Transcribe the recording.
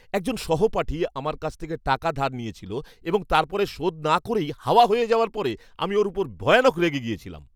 একজন সহপাঠী আমার কাছ থেকে টাকা ধার নিয়েছিল এবং তারপরে শোধ না করেই হাওয়া হয়ে যাওয়ার পরে আমি ওর উপর ভয়ানক রেগে গিয়েছিলাম।